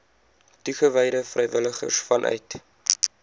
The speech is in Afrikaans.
toegewyde vrywilligers vanuit